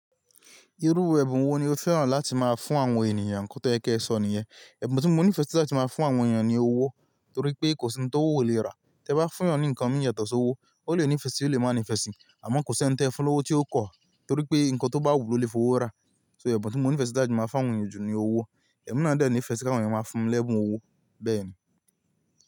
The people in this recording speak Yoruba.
Irú ẹ̀bùn wo ni o féràn láti máa fún àwọn ènìyàn kó tó yẹ kí ẹ sọ nìyẹn? Ẹ̀bùn tí mò ń nífẹ̀ẹ́ sí láti máa fún àwọn ènìyàn ni owó, torí pé kò sí ohun tó wò o lè rà. Tẹ́ bá fún ènìyàn ní ǹkan mí yàtọ̀ sí owó, ó lè ní ìfẹ́ sí i, ó lè má ní ìfẹ́ sí i, àmọ́ kò sí ohun tí ẹ fún lówó tí ó kọ̀, torí pé ohun tó bá wù ló lè fowó rà. So ẹ̀bùn tí mò ń nífẹ̀ẹ́ sí láti máa fún àwọn ènìyàn jù ni owó. Ẹ̀mí náà dẹ̀ nífẹ̀ẹ́ kí àwọn ènìyàn máa fún lẹ́bùn owó bẹ́ẹ̀ ni.